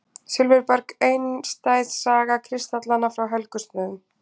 Silfurberg: einstæð saga kristallanna frá Helgustöðum.